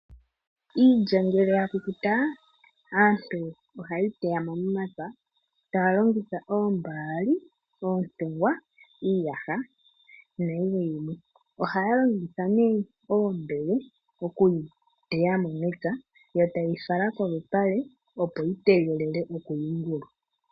Iilya ngele ya kukuta , aantu oha yeyi teyamo momapya taya longitha oombali, oontewa, iiyaha na yilwe wo. Ohaya longitha ne oombele oku yi teyamo mepya yo ta yeyi fala kolupale opo yi tegelele oku yuungulwa.